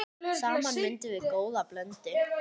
Saman myndum við góða blöndu.